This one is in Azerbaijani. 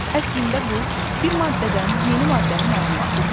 Əslində bu, bir maddədən yeni maddənin alınması deyil.